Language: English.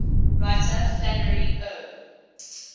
writer flannery o